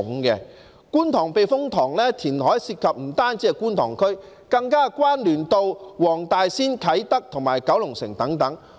觀塘避風塘填海涉及的不單是觀塘區，更與黃大仙、啟德和九龍城等有關聯。